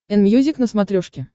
энмьюзик на смотрешке